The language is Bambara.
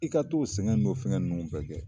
I ka t'o sɛgɛn n'o fɛngɛ ninnu fɛ kɛ